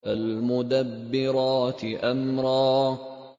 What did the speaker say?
فَالْمُدَبِّرَاتِ أَمْرًا